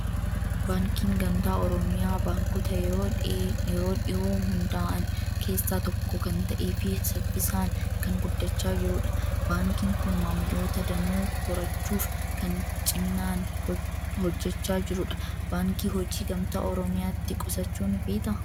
Baankiin Gamtaa Oromiyaa baankota yeroo dhiyoo hundaa'an keessaa tokko kan ta'ee fi saffisaan kan guddachaa jirudha. Baankii kun maamiltoota danuu horachuuf kan ciminaan hojjechaa jirudha. Baankii Hojii Gamtaa Oromiyaatti qusachuu ni feetaa?